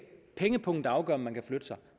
pengepungen der afgør om man kan flytte sig